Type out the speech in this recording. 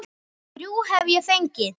Þrjú hef ég fengið.